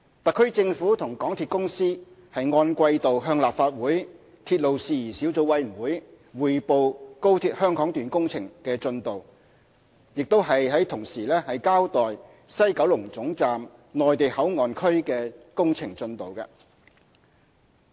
特區政府和港鐵公司按季度向立法會鐵路事宜小組委員會匯報高鐵香港段工程進度，亦同時交代西九龍總站"內地口岸區"的工程進度。